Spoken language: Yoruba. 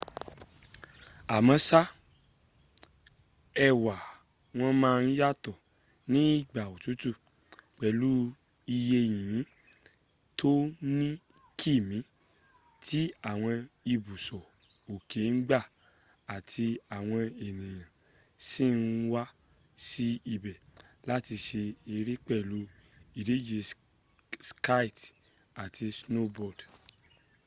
àmóṣá ẹwà wọn máa ń yàtọ̀ ní ìgbà òtútù pẹlú iye yìnyín tó ní kìmí tí àwọn ibùsọ̀ òkè ń gbà àti àwọn ènìyàn sì ń wá sí ibẹ̀ láti ṣe eré pẹ̀lú ìdíje ski àti snowboard